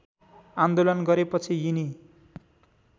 आन्दोलन गरेपछि यिनी